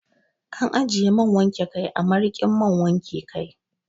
Ana ajiye man wanke kai a marikin man wanke kai.